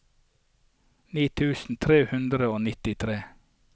ni tusen tre hundre og nittitre